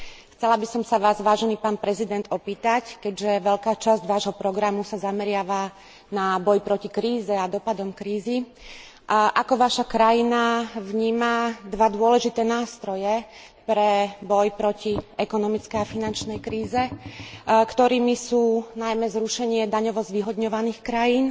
Chcela by som sa Vás, vážený pán prezident, opýtať keďže veľká časť vášho programu sa zameriava na boj proti kríze a dopadom krízy ako vaša krajina vníma dva dôležité nástroje pre boj proti ekonomickej a finančnej kríze, ktorými sú najmä zrušenie daňovo zvýhodňovaných krajín